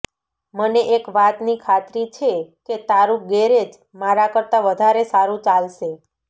મને એક વાતની ખાતરી છે કે તારું ગેરેજ મારા કરતા પણ વધારે સારું ચાલશે